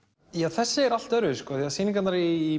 þessi er allt öðruvísi því sýningarnar í